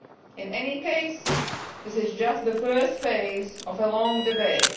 In any case, this is just the first phase of a long debate.